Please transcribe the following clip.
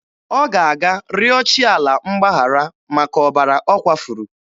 Ọ ga-aga rịọ chi ala mgbaghara maka ọbara ọ kwafuru.